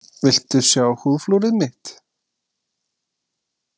Viltu sjá húðflúrið mitt?